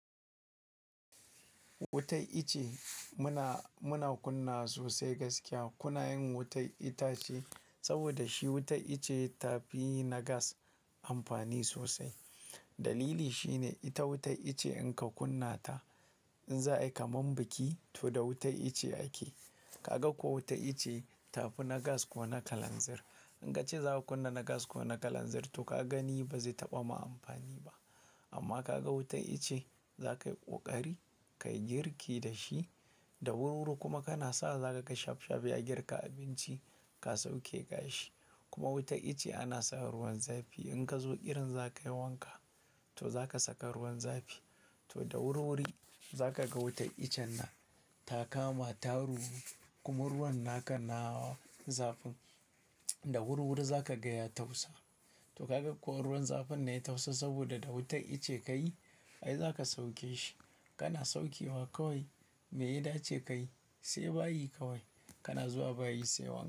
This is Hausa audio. Wutar ice muna, muna kunna sosai gaskiya. Kunayin wutar itace saboda shi wutar ice tafi na gas amfani sosai. Dalili shine ita wutar ice in ka kunna ta, in za a yi kamar biki to da wutar ice ake. Kaga ko wutar ice tafi na gas ko na kalanzir. In ka ce za ku kunna na gas ko na kalanzir to ka gani ba zai taɓa ma amfani ba. Amma ka ga wutar ice za ka yi ƙoƙari, ka yi girki da shi da wuri-wuri kuma kana sa za ka ga shaf-shaf ya girka abinci ka sauke gashi. Kuma wutar ice ana sa ruwan zafi. In ka zo irin za ka yi wanka to za ka saka ruwan zafi. To da wuri-wuri za ka ga wutar ichen na ta kama ta ruwu kuma ruwan naka na zafin da wuri-wuri za ka ga ya tafasa to kaga ko ruwan zafin ne ya tafasa saboda da wutar ice ka yi ai za ka sauke shi. Kana saukewa kawai, me ya dace ka yi? Sai bayi kawai kana zuwa bayi saiwa.